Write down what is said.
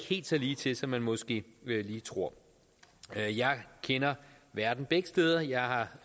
helt så ligetil som man måske lige tror jeg kender verden begge steder jeg